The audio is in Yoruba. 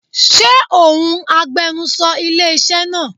Ṣé òun agbenusọ ilé iṣẹ́ náà?